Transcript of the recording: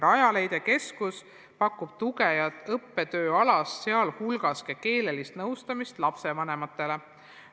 Rajaleidja keskus pakub tuge ja õppetööalast, sh ka keelealast nõustamist lapsevanematele.